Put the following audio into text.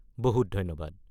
বহুত ধন্যবাদ।